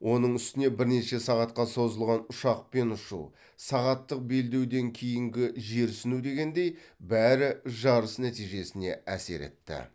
оның үстіне бірнеше сағатқа созылған ұшақпен ұшу сағаттық белдеуден кейінгі жерсіну дегендей бәрі жарыс нәтижесіне әсер етті